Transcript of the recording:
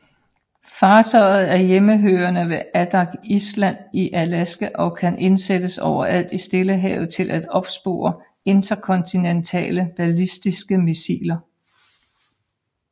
Fartøjet er hjemmehørende ved Adak Island i Alaska og kan indsættes overalt i Stillehavet til at opspore interkontinentale ballistiske missiler